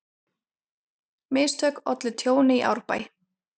Mistök ollu tjóni í Árbæ